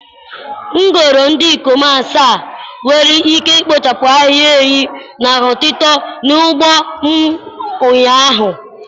M goro ndị ikom asaa nwere ike ikpochapụ ahịhịa enyí na-eto eto n'ugbo m ụnyaahụ.